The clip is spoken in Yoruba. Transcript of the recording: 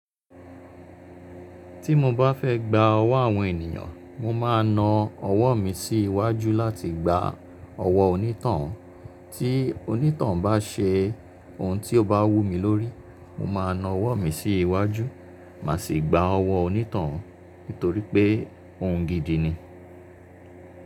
Tí mo bá fẹ́ gba ọwọ́ àwọn ènìyàn, mo máa na ọwọ́ mi sí iwájú láti gba ọwọ́ onítoun. Tí onítoun bá ṣe ohun tí ó bá wú mi lórí, mo máa na ọwọ́ mi sí iwájú, má sì gba ọwọ́ onítoun nítorí pé ohun gidi ni.